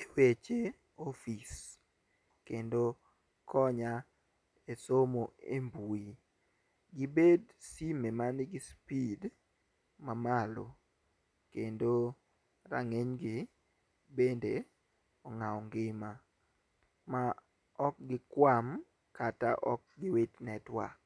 e weche e office kendo, konya e somo e mbui . Gibed simu manigi speed mamalo kendo rang'iny gi bende ong'awo ngima ma ok gikwam kata ok giwit network.